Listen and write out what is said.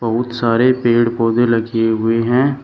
बहुत सारे पेड़ पौधे लगे हुए है।